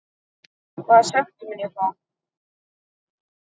Hvaða sekt mun ég fá?